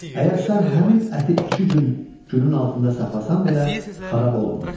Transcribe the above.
Əgər sən həmin əti iki gün günün altında saxlasan belə, xarab olmurdu.